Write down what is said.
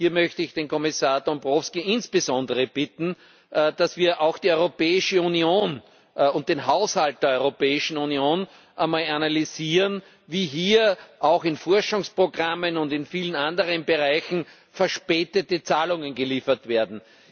Hier möchte ich den Kommissar Dombrovskis insbesondere bitten, dass wir auch die Europäische Union und den Haushalt der Europäischen Union einmal analysieren, wie hier auch in Forschungsprogrammen und in vielen anderen Bereichen verspätete Zahlungen geleistet werden.